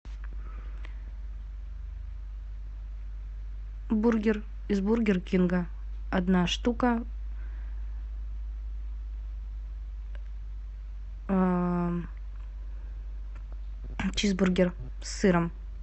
бургер из бургер кинга одна штука чизбургер с сыром